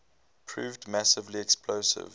proved massively expensive